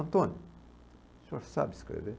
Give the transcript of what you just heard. Antônio, o senhor sabe escrever?